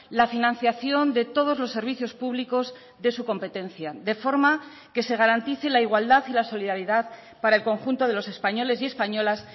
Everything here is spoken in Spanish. la financiación de todos los servicios públicos de su competencia de forma que se garantice la igualdad y la solidaridad para el conjunto de los españoles y españolas